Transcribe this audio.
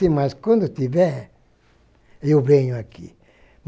Sim, mas quando tiver, eu venho aqui.